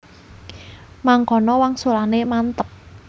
Mangkono wangsulane mantep